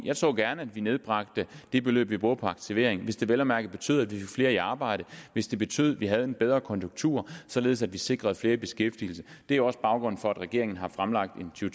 jeg så gerne at vi nedbragte det beløb vi bruger på aktivering hvis det vel at mærke betød at vi fik flere i arbejde hvis det betød at vi havde en bedre konjunktur således at vi sikrede flere i beskæftigelse det er også baggrunden for at regeringen har fremlagt en to